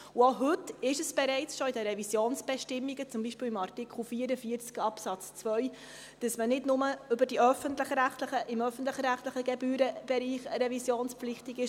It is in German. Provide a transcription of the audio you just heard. Auch heute ist es bereits in den Revisionsbestimmungen, beispielsweise in Artikel 44 Absatz 2, dass man nicht nur im öffentlich-rechtlichen Gebührenbereich revisionspflichtig ist.